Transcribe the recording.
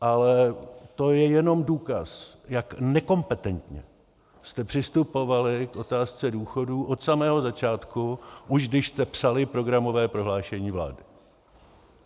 Ale to je jenom důkaz, jak nekompetentně jste přistupovali k otázce důchodů od samého začátku, už když jste psali programové prohlášení vlády.